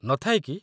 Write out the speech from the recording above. ନ ଥାଏ କି?